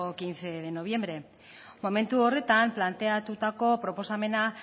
quince de noviembre momentu horretan planteatutako proposamena